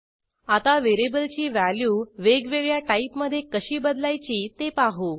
आता व्हेरिएबलची व्हॅल्यू वेगवेगळ्या टाईपमधे कशी बदलायची ते पाहू